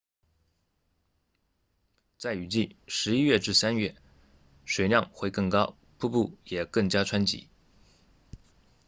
在雨季11月至3月水量会更高瀑布也更加湍急